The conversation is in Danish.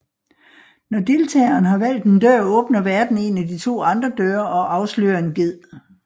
Når deltageren har valgt en dør åbner værten en af de to andre døre og afslører en ged